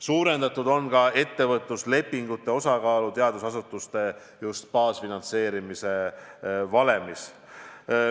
Suurendatud on ka ettevõtluslepingute osakaalu teadusasutuste baasfinantseerimise valemis.